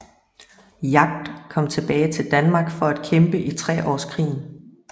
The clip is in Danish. Jagd kom tilbage til Danmark for at kæmpe i treårskrigen